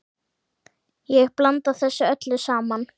Ég blanda þessu öllu saman.